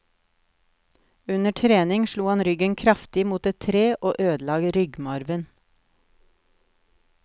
Under trening slo han ryggen kraftig mot et tre og ødela ryggmargen.